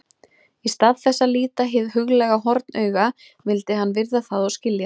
Í stað þess að líta hið huglæga hornauga vildi hann virða það og skilja.